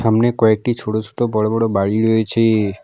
সামনে কয়েকটি ছোট ছোট বড় বড় বাড়ি রয়েছে।